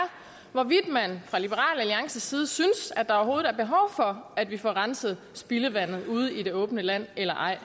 hvorvidt man fra liberal alliances side synes at der overhovedet er behov for at vi får renset spildevandet ude i det åbne land eller ej